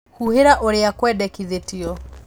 Huhĩra ũrĩa kwendekithĩtio